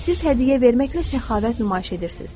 Siz hədiyyə verməklə səxavət nümayiş etdirirsiz.